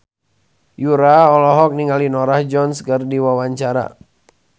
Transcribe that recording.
Yura olohok ningali Norah Jones keur diwawancara